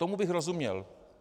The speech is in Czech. Tomu bych rozuměl.